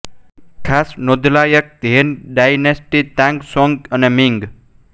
ખાસ નોંધવાલાયક Han dynasty Tang Song અને મિંગ